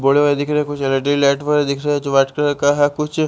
board में दिख रहा है कुछ एलइडी लाइट वगैरा दिख रहा है वाइट कलर का है कुछ--